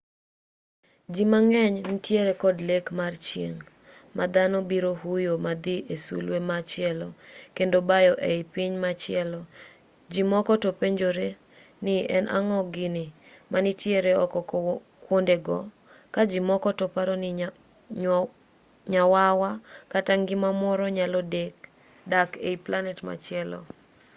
ji mang'eny nitiere kod lek mar chieng' ma dhano biro huyo madhi ei sulwe machielo kendo bayo ei piny machielo ji moko to penjore ni en ang'o gini manitiere oko kwondego ka ji moko to paro ni nyawawa kata ngima moro nyalo dak ei planet machielo